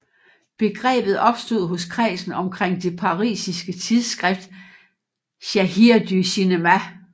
Begrebet opstod hos kredsen omkring det parisiske tidsskrift Cahiers du Cinema